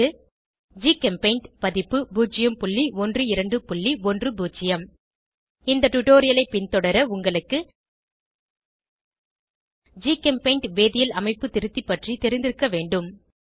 1204 GChemPaint பதிப்பு 01210 இந்த டுடோரியலை பின்தொடர உங்களுக்கு ஜிகெம்பெய்ண்ட் வேதியியல் அமைப்பு திருத்தி பற்றி தெரிந்திருக்க வேண்டும்